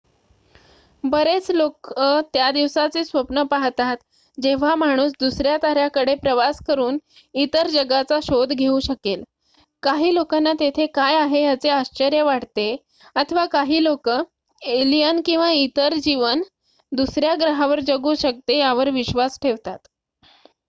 बरेच लोकं त्या दिवसाचे स्वप्न पाहतात जेव्हा माणूस दुसऱ्या ताऱ्याकडे प्रवास करुन इतर जगाचा शोध घेऊ शकेल काही लोकांना तेथे काय आहे याचे आश्चर्य वाटते अथवा काही लोकं एलियन किंवा इतर जीवन दुसर्‍या ग्रहावर जगू शकते यावर विश्वास ठेवतात